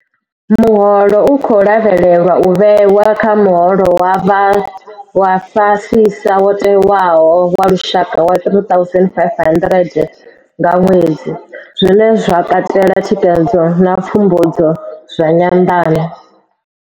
Muholo u khou lavhelelwa u vhewa kha muholo wa fhasisa wo tewaho wa lushaka wa R3 500 nga ṅwedzi, zwine zwa katela thikhedzo na pfumbudzo zwa nyanḓano.